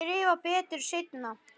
Skrifa betur seinna.